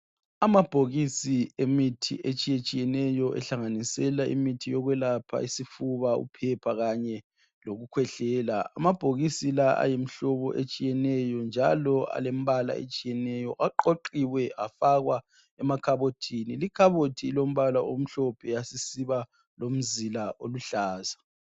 Amabhokisi emithi etshiye tshiyeneyo ehlanganisela imithi yokwelapha isifuba uphepha kanye lokukhwehlela amabhokisi la ayimihlobo etshiyeneyo njalo alembala etshiyeneyo aqoqiwe afakwa emakhabothini likhabothi lombala omhlophe yasisiba lomzila oluhlaza.